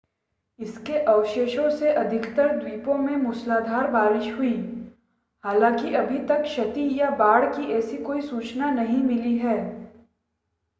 इसके अवशेषों से अधिकतर द्वीपों में मूसलाधार बारिश हुई हालांकि अभी तक क्षति या बाढ़ की ऐसी कोई सूचना नहीं मिली है